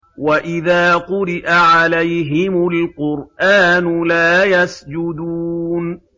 وَإِذَا قُرِئَ عَلَيْهِمُ الْقُرْآنُ لَا يَسْجُدُونَ ۩